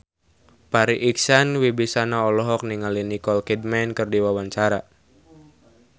Farri Icksan Wibisana olohok ningali Nicole Kidman keur diwawancara